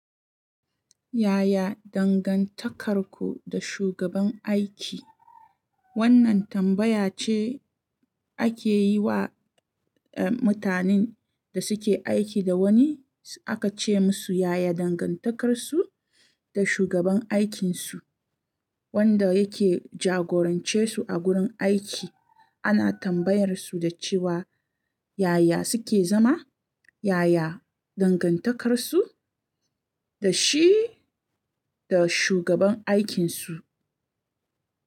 Yaya dangantakarku da shugaban aiki? Wannan tambaya ce ake yi wa, eh, mutanen da suke aiki da wani, aka ce musu yaya dangantakarsu da shugaban aikinsu wanda yake jagorance su a gurin aiki. Ana tambayar su da cewa yaya suke zama, yaya dangantakarsu da shi da shugaban aikinsu.